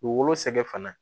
U wolo sɛgɛ fana